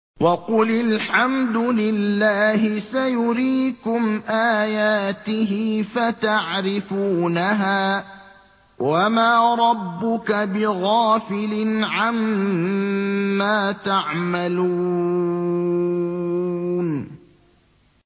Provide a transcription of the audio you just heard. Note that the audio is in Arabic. وَقُلِ الْحَمْدُ لِلَّهِ سَيُرِيكُمْ آيَاتِهِ فَتَعْرِفُونَهَا ۚ وَمَا رَبُّكَ بِغَافِلٍ عَمَّا تَعْمَلُونَ